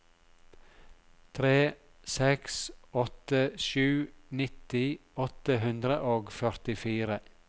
tre seks åtte sju nitti åtte hundre og førtifire